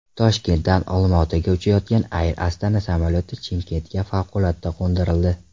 Toshkentdan Olmaotaga uchayotgan Air Astana samolyoti Chimkentga favqulodda qo‘ndirildi.